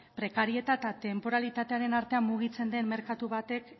prekarietate eta tenporalitatearen artean mugitzen den merkatu batek